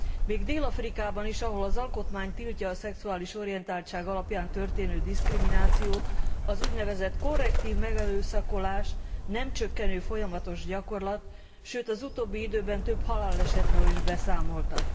Még Dél Afrikában is, ahol az alkotmány tiltja a szexuális orientáltság alapján történő diszkriminációt az úgynevezett korrektív megerőszakolás nem csökkenő, folyamatos gyakorlat, sőt az utóbbi időben több halálesetről is beszámoltak.